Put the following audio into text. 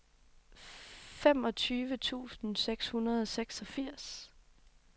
femogtyve tusind seks hundrede og seksogfirs